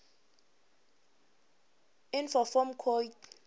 inf form coid